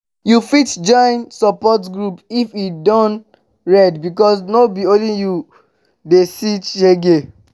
yu fit join support group if e don red bikos no be only yu dey see shege